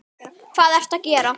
Hvað ertu að gera!